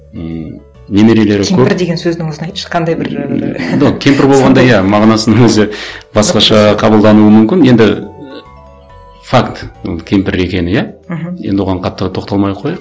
ммм немерелері кемпір деген сөздің өзін айтшы қандай бір мағынасының өзі басқаша қабылдануы мүмкін енді і факт ол кемпір екені иә мхм енді оған қаттырақ тоқталмай ақ қояйық